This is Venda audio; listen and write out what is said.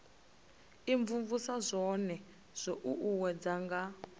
imvumvusa zwone zwo uuwedzwa nga